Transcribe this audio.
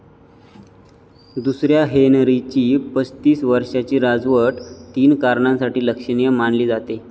दुसऱ्या हेनरीची पस्तीस वर्षाची राजवट तीन कारणांसाठी लक्षणीय मानली जाते.